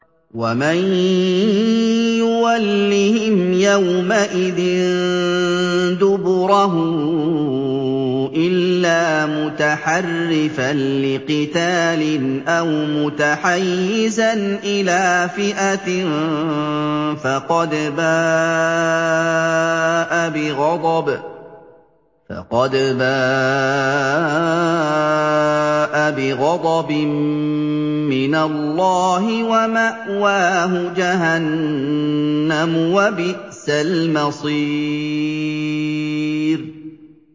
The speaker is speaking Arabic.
وَمَن يُوَلِّهِمْ يَوْمَئِذٍ دُبُرَهُ إِلَّا مُتَحَرِّفًا لِّقِتَالٍ أَوْ مُتَحَيِّزًا إِلَىٰ فِئَةٍ فَقَدْ بَاءَ بِغَضَبٍ مِّنَ اللَّهِ وَمَأْوَاهُ جَهَنَّمُ ۖ وَبِئْسَ الْمَصِيرُ